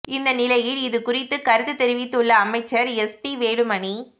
இந்த நிலையில் இது குறித்து கருத்து தெரிவித்துள்ள அமைச்சர் எஸ் பி வேலுமணி